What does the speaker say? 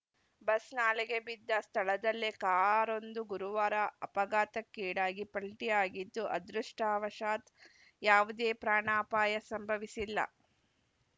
bus ನಾಲೆಗೆ ಬಿದ್ದ ಸ್ಥಳದಲ್ಲೇ ಕಾರೊಂದು ಗುರುವಾರ ಅಪಘಾತಕ್ಕೀಡಾಗಿ ಪಲ್ಟಿಯಾಗಿದ್ದು ಅದೃಷ್ಟವಶಾತ್‌ ಯಾವುದೇ ಪ್ರಾಣಾಪಾಯ ಸಂಭವಿಸಿಲ್ಲ